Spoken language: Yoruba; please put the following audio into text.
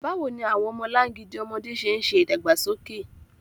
Báwo ni àwọn ọmọlangidi ọmọdé ṣe ń ṣe ìdàgbàsókè?